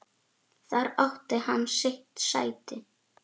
Þar átti hann sitt sæti.